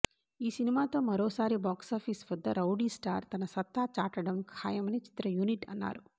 ఈ సినిమాతో మరోసారి బాక్సాఫీస్ వద్ద రౌడీ స్టార్ తన సత్తా చాటడం ఖాయమని చిత్ర యూనిట్ అన్నారు